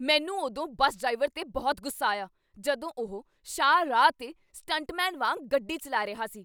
ਮੈਨੂੰ ਉਦੋਂ bus driver 'ਤੇ ਬਹੁਤ ਗੁੱਸਾ ਆਇਆ ਜਦੋਂ ਉਹ ਸ਼ਾਹ ਰਾਹ 'ਤੇ ਸਟੰਟਮੈਨ ਵਾਂਗ ਗੱਡੀ ਚੱਲਾ ਰਿਹਾ ਸੀ।